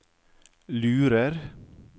lurer